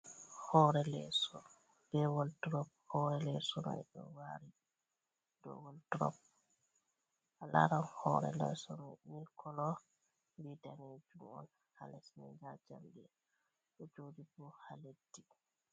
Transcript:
Hore leso be wol drop, hore leso ni ɗo wali ɗo wol drop laran hore leso ɗo mil kolo vi danejum on ha lesni jalbe o joɗi bo ha leddi.